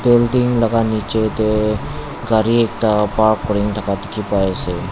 building laga nichey deh gari ekta park kurin thaka dikhi pai asey.